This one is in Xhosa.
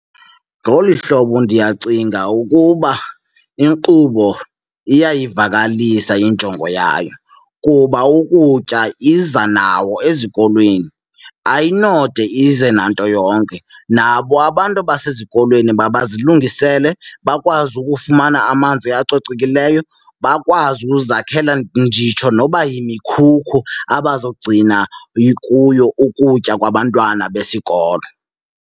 Ngolu hlobo ndiyacinga ukuba inkqubo iyayivakalisa injongo yayo kuba ukutya iza nawo ezikolweni, ayinode ize nanto yonke. Nabo abantu basezikolweni mabazilungisele bakwazi ukufumana amanzi acocekileyo, bakwazi uzakhela nditsho noba yimikhukhu abazogcina kuyo ukutya kwabantwana besikolo.